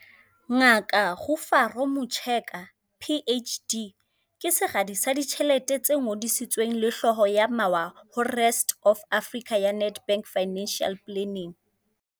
Ngaka Rufaro Mucheka, PhD, ke Seradi sa Ditjhelete se Ngodisitsweng le Hlooho ya Mawa ho Rest Of Africa ya Nedbank Financial Planning.